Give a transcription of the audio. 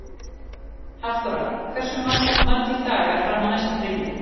Hafþóra, hversu margir dagar fram að næsta fríi?